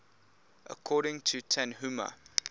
according to tanhuma